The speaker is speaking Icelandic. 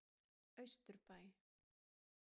Austurbæ